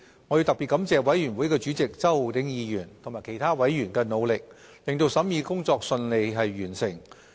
我要特別感謝法案委員會主席周浩鼎議員及其他委員的努力，令審議工作順利完成。